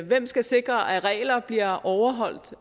hvem skal sikre at regler bliver overholdt